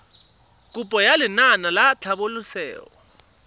kopo ya lenaane la tlhabololosewa